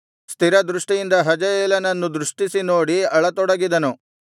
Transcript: ಸ್ಥಿರ ದೃಷ್ಟಿಯಿಂದ ಹಜಾಯೇಲನನ್ನು ದಿಟ್ಟಿಸಿ ನೋಡಿ ಅಳತೊಡಗಿದನು